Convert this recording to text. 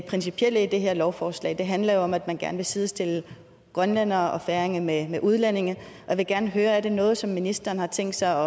principielle i det her lovforslag handler jo om at man gerne vil sidestille grønlændere og færinger med udlændinge og jeg vil gerne høre om det er noget som ministeren har tænkt sig